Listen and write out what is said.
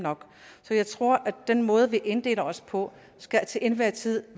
så jeg tror at den måde vi inddeler os på til enhver tid